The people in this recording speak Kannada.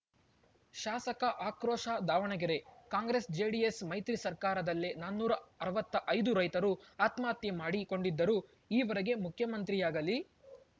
ಶಾಸಕ ಆಕ್ರೋಶ ದಾವಣಗೆರೆ ಕಾಂಗ್ರೆಸ್‌ಜೆಡಿಎಸ್‌ ಮೈತ್ರಿ ಸರ್ಕಾರದಲ್ಲೇ ನಾನೂರ ಅರವತ್ತೈದು ರೈತರು ಆತ್ಮಹತ್ಯೆ ಮಾಡಿಕೊಂಡಿದ್ದರೂ ಈವರೆಗೆ ಮುಖ್ಯಮಂತ್ರಿಯಾಗಲೀ